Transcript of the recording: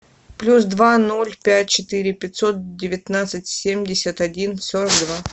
плюс два ноль пять четыре пятьсот девятнадцать семьдесят один сорок два